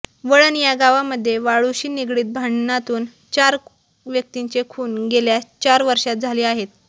वळण या गावामध्ये वाळूशी निगडित भांडणांतून चार व्यक्तींचे खून गेल्या चार वर्षांत झाले आहेत